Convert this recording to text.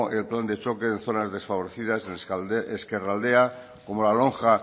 plan de choque de zonas desfavorecidas en ezkerraldea como la lonja